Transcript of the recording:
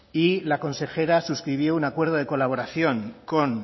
y la consejera suscribió un acuerdo de colaboración con